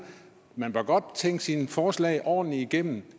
at man godt må tænke sine forslag ordentligt igennem